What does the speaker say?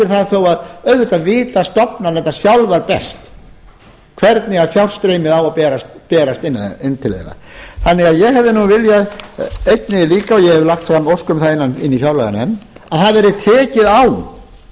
fyrir það þó auðvitað viti stofnanirnar sjálfar best hvernig fjárstreymið á að berast inn til þeirra þannig að ég hefði viljað einnig líka og ég hef lagt um ósk um það inni í fjárlaganefnd að það yrði